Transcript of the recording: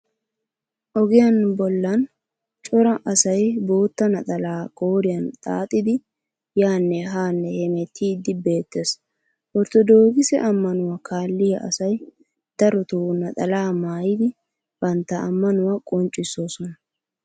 Ogiyan bollan cora asay boottaa naxalaa qooriyan xaaxidi yaanne haa hemettiiddi beettes. Orttodookise ammanuwa kaalliya asay darotoo naxalaa maayidi bantta ammanuwaa qonccissoosona.